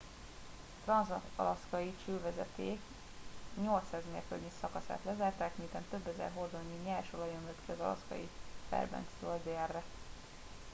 a transz alaszkai csővezeték 800 mérföldnyi szakaszát lezárták miután több ezer hordónyi nyers olaj ömlött ki az alaszkai fairbankstől délre